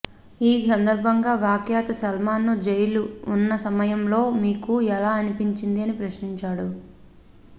ఈ సందర్భంగా వ్యాఖ్యత సల్మాన్ ను జైలు ఉన్న సమయంలో మీకు ఎలా అనిపించింది అని ప్రశ్నించాడు